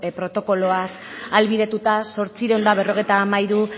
protokoloaz ahalbidetuta zortziehun eta berrogeita hamairu